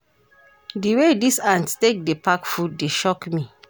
Di way dese ants take dey pack food dey shock me.